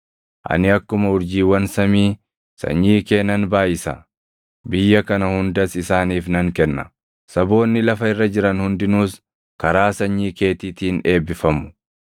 Ani akkuma urjiiwwan samii sanyii kee nan baayʼisa; biyya kana hundas isaaniif nan kenna; saboonni lafa irra jiran hundinuus karaa sanyii keetiitiin eebbifamu.